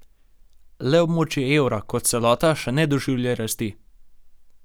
Le območje evra, kot celota, še ne doživlja rasti.